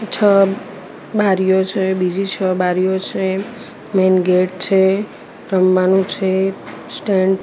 છ બારીઓ છે બીજી છ બારીઓ છે મેન ગેટ છે રમવાનું છે સ્ટેન્ડ --